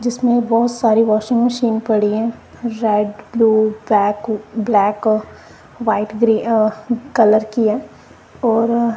जिसमें बहोत सारी वाशिंग मशीन पड़ी है red blue black black white grey uh colour कि है और--